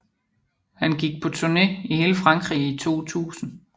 Han gik på turné i hele Frankrig i 2000